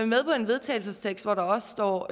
med på en vedtagelsestekst hvor der også står